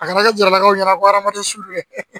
A kana kɛ jaralakaw ye ko hadamaden su